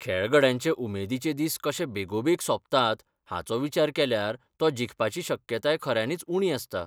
खेळगड्यांचे उमेदीचे दिस कशे बेगोबेग सोंपतात हाचो विचार केल्यार तो जिखपाची शक्यताय खऱ्यांनीच उणी आसता.